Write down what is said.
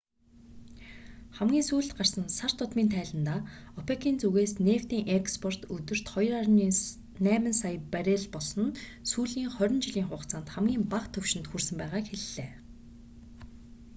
хамгийн сүүлд гарсан сар тутмын тайландаа опек-ийн зүгээс нефтийн экспорт өдөрт 2,8 сая баррел болсон нь сүүлийн хорин жилийн хугацаанд хамгийн бага түвшинд хүрсэн байгааг хэллээ